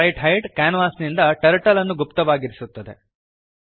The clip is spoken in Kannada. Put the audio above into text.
ಸ್ಪ್ರೈಟ್ಹೈಡ್ ಕ್ಯಾನ್ವಾಸಿನಿಂದ ಟರ್ಟಲ್ ಅನ್ನು ಗುಪ್ತವಾಗಿರಿಸುತ್ತದೆ